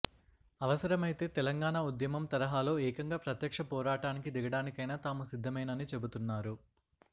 అవసరమైతే తెలంగాణ ఉద్యమం తరహాలో ఏకంగా ప్రత్యక్ష పోరాటానికి దిగడానికైనా తాము సిద్ధమేనని చెబుతున్నారు